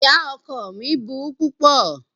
Ìyá ọkọ ọ mí burú púpọ̀.